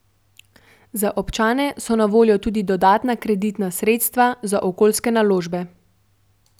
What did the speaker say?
Za občane so na voljo tudi dodatna kreditna sredstva za okoljske naložbe.